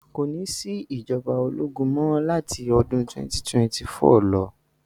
Kò ní sí ìjọba ológun mọ́ láti 2024 lọ.